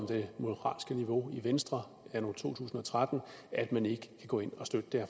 det moralske niveau i venstre anno to tusind og tretten at man ikke kan gå ind og støtte det